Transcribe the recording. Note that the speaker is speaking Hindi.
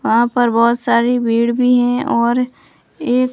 वहां पर बहुत सारी भीड़ भी हैं और एक--